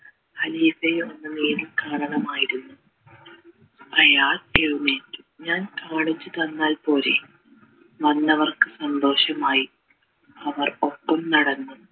ഖലീഫയെ ഒന്ന് നേരിൽ കാണണമായിരുന്നു അയാൾ എഴുന്നേറ്റു ഞാൻ കാണിച്ചു തന്നാൽ പോരെ വന്നവർക്ക് സന്തോഷമായി അവർ ഒപ്പം നടന്നു